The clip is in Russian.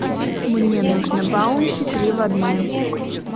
мне нужно баунти три в одном